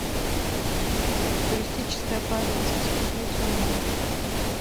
туристическая полиция смотреть онлайн